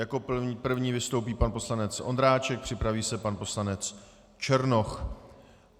Jako první vystoupí pan poslanec Ondráček, připraví se pan poslanec Černoch.